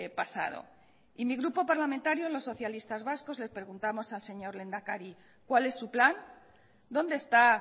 pasado y mi grupo parlamentario los socialistas vascos le preguntamos al señor lehendakari cuál es su plan dónde está